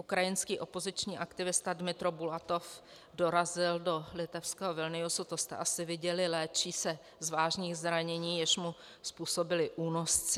Ukrajinský opoziční aktivista Dmytro Bulatov dorazil do litevského Vilniusu, to jste asi viděli, léčí se z vážných zranění, jež mu způsobili únosci.